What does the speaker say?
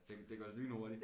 Det det går lynhurtig